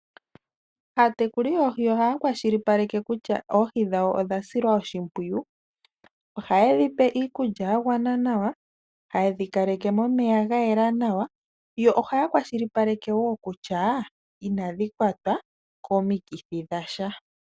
Aatekuli yoohi oha ya kwashilipaleke kutya oohi dhawo odha silwa oshimpwiyu. Ohaye dhi pe iikulya ya gwana nawa, taye dhi kaleke momeya ga yela nawa, yo oha ya kwashilipaleke wo kutya inadhi kwatwa komikithi dhasha.